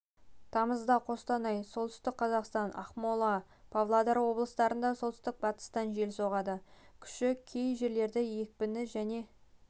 тамызда қостанай солтүстік қазақстан ақмола тамызда павлодар облыстарында оңтүстік-батыстан жел соғады күші кей жерлерде екпіні және